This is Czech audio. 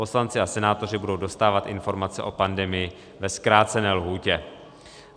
Poslanci a senátoři budou dostávat informace o pandemii ve zkrácené lhůtě.